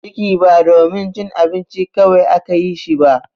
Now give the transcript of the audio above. Ciki ba domin cin abinci kawai aka yi shi ba.